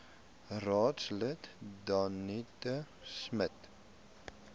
raadslid danetta smit